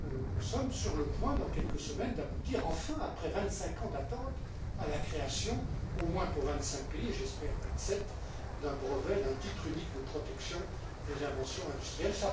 Nous sommes sur le point, dans quelques semaines, d'aboutir enfin, après vingt cinq ans d'attente, à la création, au moins pour vingt cinq pays et j'espère vingt sept, d'un brevet, d'un titre unique de protection des inventions industrielles.